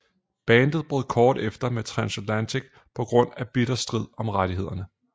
Bandet brød kort efter med Transatlantic på grund af bitter strid om rettighederne